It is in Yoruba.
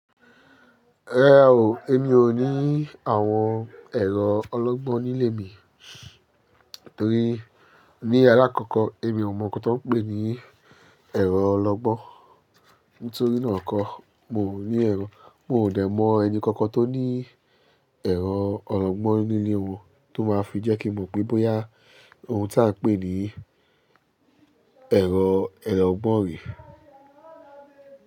Rárá o, èmi ò ní àwọn ẹ̀rọ ológbó nílé mi torí ní alákọ̀kọ́ èmi ò mọ nkan tó ń pè ní ẹ̀rọ ológbó. Nítorí náà kọ́ mo ní ẹ̀rọ, mò ò dẹ̀ mọ ẹni kankan tó ní ẹ̀rọ ológbó nílé òun tó máa fi jẹ́ kí mọ̀ pé bóyá ohun tí a ń pè ní ẹ̀rọ ẹlẹ́gbọ̀n rè.